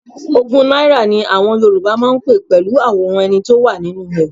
Ogún náírà ni àwọn Yorùbá máa ń pé pẹ̀lú àwòrán ẹni tó wà nínú ẹ̀.